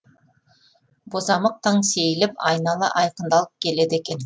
бозамық таң сейіліп айнала айқындалып келеді екен